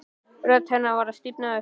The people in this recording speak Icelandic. Rödd hennar var að stífna upp.